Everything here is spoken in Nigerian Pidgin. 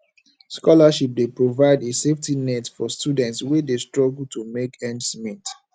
scholarships dey provide a safety net for students wey dey struggle to make ends meet